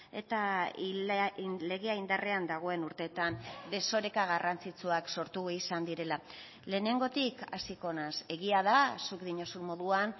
eta legea indarrean dagoen urteetan desoreka garrantzitsuak sortu izan direla lehenengotik hasiko naiz egia da zuk diozun moduan